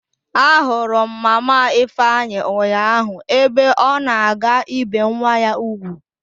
Ahụrụ m mama ifeanyi ụnyaahụ ebe ọ na-aga ibe nwa ya ugwu.